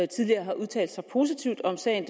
tidligere har udtalt sig positivt om sagen